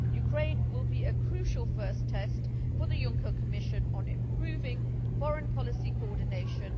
Ukraine will be a crucial first test for the Juncker Commission on improving foreign policy coordination.